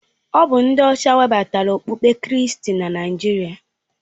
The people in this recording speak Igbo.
Ọ bụ ndị ọcha webatara okpukpe kristi na Naịjirịa.